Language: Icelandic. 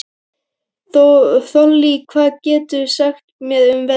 Þollý, hvað geturðu sagt mér um veðrið?